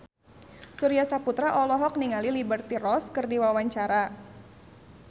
Surya Saputra olohok ningali Liberty Ross keur diwawancara